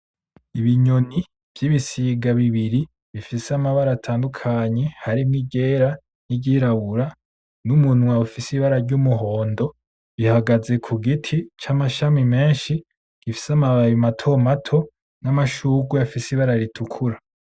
Ibinyoni vy'ibisiga bibiri bifise amabara atandukanye harimwo iryera, n'iyirabura , n'umunwa ufise ibara ryumuhondo. Ihagaze kugiti camashami menshi namababi matomato , n'amashurwe afise ibara ritukura .